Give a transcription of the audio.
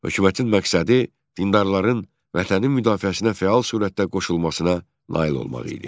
Hökumətin məqsədi dindarların Vətənin müdafiəsinə fəal surətdə qoşulmasına nail olmaq idi.